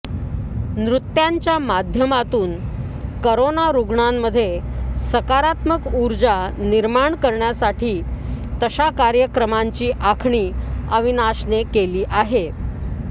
नृत्यांच्या माध्यमातून करोना रुग्णांमध्ये सकारात्मक उर्जा निर्माण करण्यासाठी तशा कार्यक्रमांची आखणी अविनाशने केली आहे